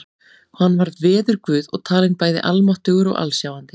Hann var veðurguð og talinn bæði almáttugur og alsjáandi.